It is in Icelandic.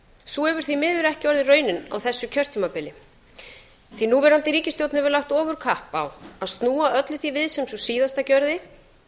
sú hefur því miður ekki orðið raunin á þessu kjörtímabili fái núverandi ríkisstjórn hefur lagt ofurkapp á að snúa öllu því við sem sú síðasta gerði